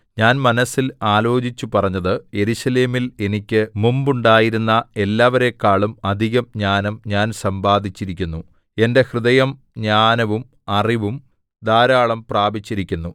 ഞാൻ മനസ്സിൽ ആലോചിച്ചുപറഞ്ഞത് യെരൂശലേമിൽ എനിക്ക് മുമ്പുണ്ടായിരുന്ന എല്ലാവരെക്കാളും അധികം ജ്ഞാനം ഞാൻ സമ്പാദിച്ചിരിക്കുന്നു എന്റെ ഹൃദയം ജ്ഞാനവും അറിവും ധാരാളം പ്രാപിച്ചിരിക്കുന്നു